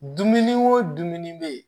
Dumuni o dumuni bɛ yen